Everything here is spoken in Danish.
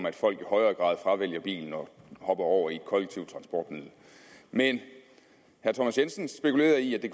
at folk i højere grad fravælger bilen og hopper over i et kollektivt transportmiddel men herre thomas jensen spekulerede i at det